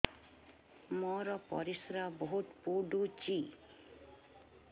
ମୋର ପରିସ୍ରା ବହୁତ ପୁଡୁଚି